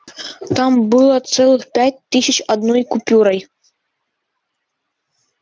там было целых пять тысяч одной купюрой